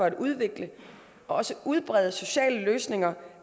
at udvikle og udbrede sociale løsninger